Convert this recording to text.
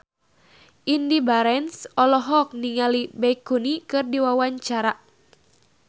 Indy Barens olohok ningali Baekhyun keur diwawancara